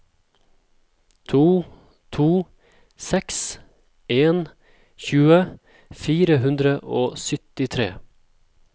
to to seks en tjue fire hundre og syttitre